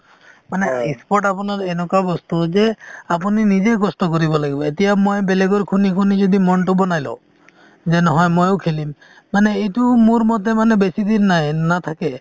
sports আপোনাৰ এনেকুৱা বস্তু যে আপুনি নিজেই কষ্ট কৰিব লাগিব এতিয়া মই বেলেগৰ শুনি শুনি যদি মন টো বনাই লওঁ যে নহয় মইও খেলিম মানে এইটো মোৰ মতে মানে বেছিদিন নাই নাথাকে